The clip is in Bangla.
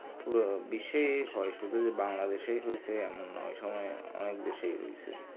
পুরো বিশ্বে হয়তো শুধুই বাংলাদেশ এ হৈহয়েছে এমন না ওই সময়ে অনেক দেশেই হয়েছে